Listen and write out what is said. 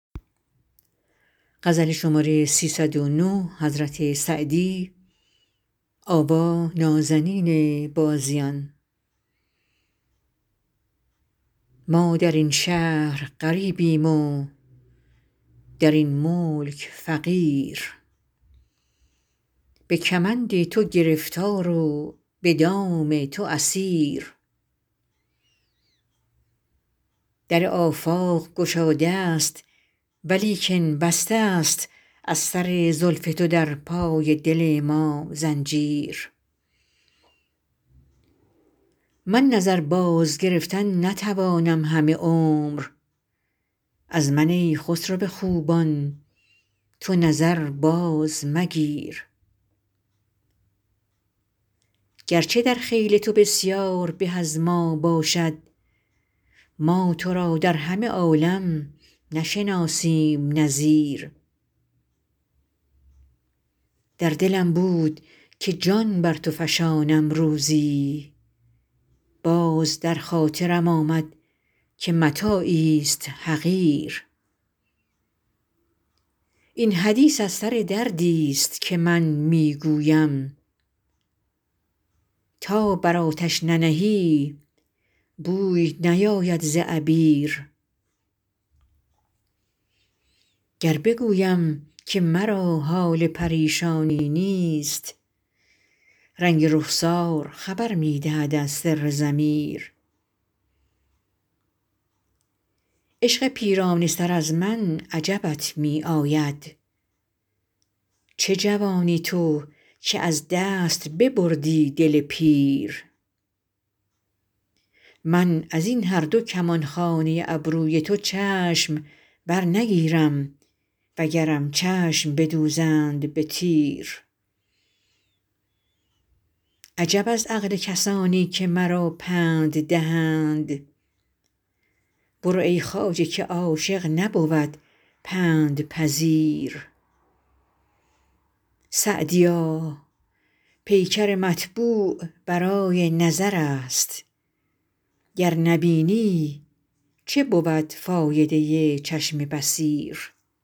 ما در این شهر غریبیم و در این ملک فقیر به کمند تو گرفتار و به دام تو اسیر در آفاق گشاده ست ولیکن بسته ست از سر زلف تو در پای دل ما زنجیر من نظر بازگرفتن نتوانم همه عمر از من ای خسرو خوبان تو نظر بازمگیر گرچه در خیل تو بسیار به از ما باشد ما تو را در همه عالم نشناسیم نظیر در دلم بود که جان بر تو فشانم روزی باز در خاطرم آمد که متاعیست حقیر این حدیث از سر دردیست که من می گویم تا بر آتش ننهی بوی نیاید ز عبیر گر بگویم که مرا حال پریشانی نیست رنگ رخسار خبر می دهد از سر ضمیر عشق پیرانه سر از من عجبت می آید چه جوانی تو که از دست ببردی دل پیر من از این هر دو کمانخانه ابروی تو چشم برنگیرم وگرم چشم بدوزند به تیر عجب از عقل کسانی که مرا پند دهند برو ای خواجه که عاشق نبود پندپذیر سعدیا پیکر مطبوع برای نظر است گر نبینی چه بود فایده چشم بصیر